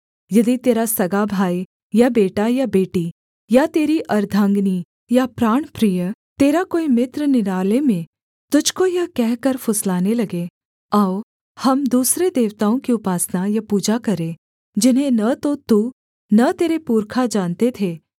यदि तेरा सगा भाई या बेटा या बेटी या तेरी अर्द्धांगिनी या प्राणप्रिय तेरा कोई मित्र निराले में तुझको यह कहकर फुसलाने लगे आओ हम दूसरे देवताओं की उपासना या पूजा करें जिन्हें न तो तू न तेरे पुरखा जानते थे